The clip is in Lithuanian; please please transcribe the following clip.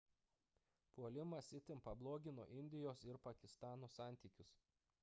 puolimas itin pablogino indijos ir pakistano santykius